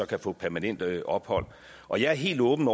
kan få permanent ophold og jeg er helt åben